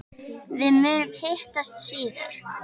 Við munum hittast síðar.